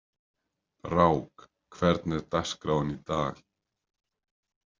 Brák, hvernig er dagskráin í dag?